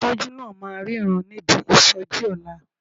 Afọ́jú náà máa ríran níbi ìsọjí ọ̀la.